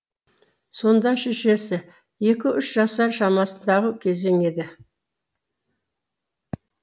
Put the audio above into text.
сонда шешесі екі үш жасар шамасындағы кезің еді